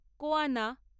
কোয়ানা